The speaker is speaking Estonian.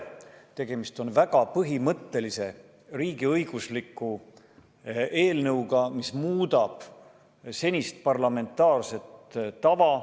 Tegemist on väga põhimõttelise riigiõigusliku eelnõuga, mis muudab senist parlamentaarset tava.